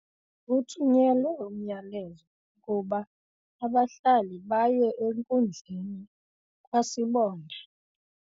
Kuthunyelwe umyalezo wokuba abahlali baye enkundleni kwasibonda.